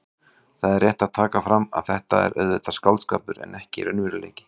Það er rétt að taka fram að þetta er auðvitað skáldskapur en ekki raunveruleiki.